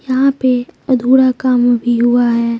यहां पे अधूरा काम भी हुआ है।